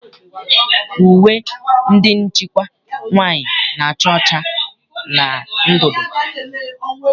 Uwe ndị nchịkwa nwaanyị na-acha ọcha na ndụndụ.